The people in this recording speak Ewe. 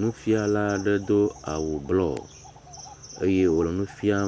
Nufiala ɖe do awu blɔ eye wole nu fia